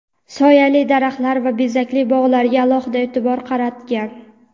soyali daraxtlar va bezakli bog‘larga alohida e’tibor qaratgan.